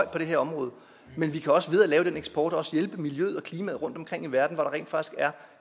på det her område men vi kan også ved at lave den eksport hjælpe miljøet og klimaet rundtomkring i verden hvor der rent faktisk er